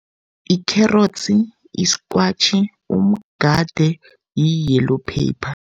Ikherotsi, iskwatjhi, umgade, i-yellow paper.